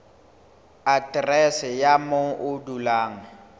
aterese ya moo o dulang